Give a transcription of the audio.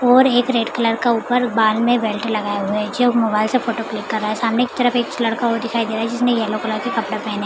और एक red colour का ऊपर बाल में बेल्ट लगाए हुए है जो मोबाइल से फोटो क्लिक कर रहा है। सामने की तरफ एक लड़का और दिखाई दे रहा है जिसने येलो कलर के कपडे पहने --